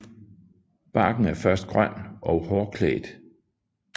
Barken er først grøn og hårklædt